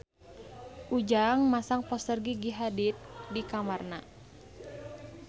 Ujang masang poster Gigi Hadid di kamarna